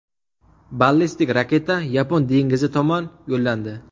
Ballistik raketa Yapon dengizi tomon yo‘llandi.